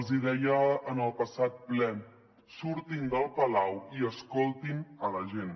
els hi deia en el passat ple surtin del palau i escoltin la gent